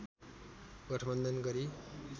गठबन्धन गरी